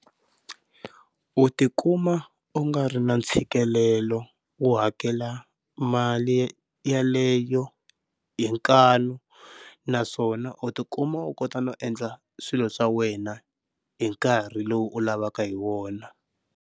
U tikuma u nga ri na ntshikelelo wo hakela mali yeleyo hi nkanu, naswona u tikuma u kota no endla swilo swa wena hi nkarhi lowu u lavaka hi wona.